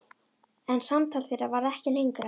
En samtal þeirra varð ekki lengra.